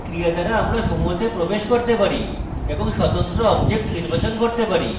by ক্রিয়া দ্বারা আমরা সমূহতে প্রবেশ করতে পারি এবং স্বতন্ত্র objects নির্বাচন করতে পারি